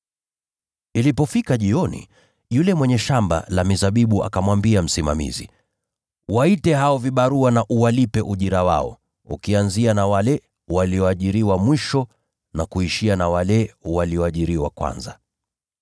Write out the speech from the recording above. “Ilipofika jioni, yule mwenye shamba la mizabibu akamwambia msimamizi, ‘Waite hao vibarua na uwalipe ujira wao, ukianzia na wale walioajiriwa mwisho na kuishia na wale walioajiriwa kwanza.’